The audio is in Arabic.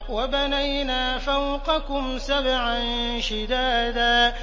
وَبَنَيْنَا فَوْقَكُمْ سَبْعًا شِدَادًا